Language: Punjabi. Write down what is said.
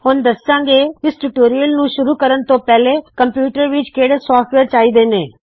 ਹੁਣ ਦੱਸਾੰ ਗੇ ਇਸ ਟਯੂਟੋਰਿਯਲ ਨੂੰ ਸ਼ੁਰੂ ਕਰਨ ਤੋ ਪਹਲੋ ਕੰਪਿਊਟਰ ਵਿੱਚ ਕਿਹੜੇ ਸੌਫਟਵੇਯਰ ਚਾਹੀ ਦੇ ਨੇ